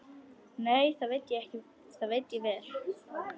Nei, það veit ég vel.